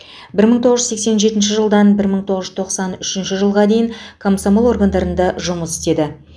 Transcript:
бір мың тоғыз жүз сексен жетінші жылдан бір мың тоғыз жүз тоқсан үшінші жылға дейін комсомол органдарында жұмыс істеді